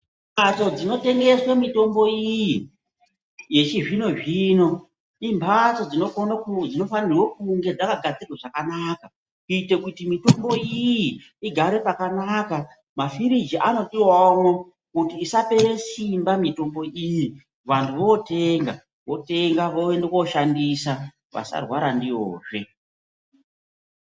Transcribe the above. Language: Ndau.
Mbatso dzinotengeswe mitombo iyi yechizvino-zvino imhatso dzinofanire kunge dzakagadzirwa zvekanaka. Kuitira kuti mitombo iyi igare pakanaka mafirigi anodivavomwo kuti isapera simba mitombo iyi. Vantu votenga votenga voenda koshandisa vasarwara ndiyozve.